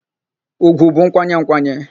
Ùgwù bụ nkwanye nkwanye.